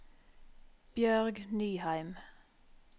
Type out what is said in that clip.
Bjørg Nyheim